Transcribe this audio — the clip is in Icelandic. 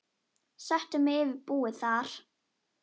Settu mig yfir búið þar.